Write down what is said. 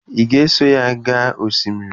Ị ga-eso ya gaa osimiri?